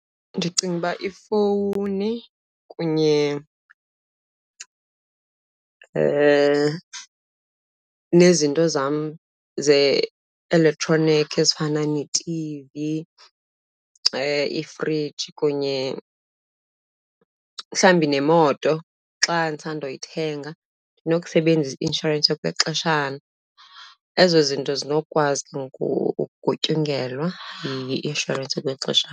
Ndicinga uba ifowuni kunye nezinto zam ze-elektroniki ezifana netivi,i ifriji kunye mhlawumbi nemoto xa ndisandoyithenga ndinokusebenzisa i-inshorensi yokwexeshana. Ezo zinto zinokukwazi ke ngoku ukugutyungelwa yi-inshorensi yokwexeshana.